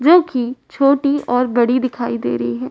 जो कि छोटी और बड़ी दिखाई दे रही है।